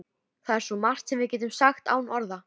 Það er svo margt sem við getum sagt án orða.